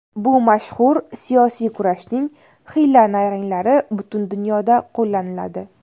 Bu mashhur... siyosiy kurashning hiyla-nayranglari butun dunyoda qo‘llaniladi.